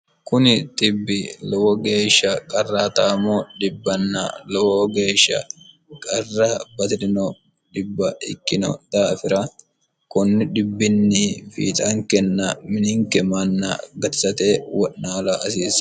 kuni xibbi lowo geeshsha qarra taamo dhibbanna lowo geeshsha qarra baji'rino dhibb ikkino daafira kunni dhibbinni fiixaankenna mininke manna gatisate wo'naala asiisse